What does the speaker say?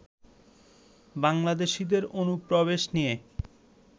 বাংলাদেশীদের অনুপ্রবেশ নিয়ে